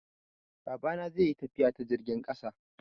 Babana zai yi tafiya ta jirgin ƙasa.